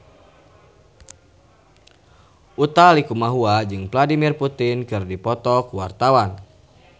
Utha Likumahua jeung Vladimir Putin keur dipoto ku wartawan